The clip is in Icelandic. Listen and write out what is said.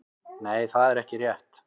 Nei það er ekki rétt.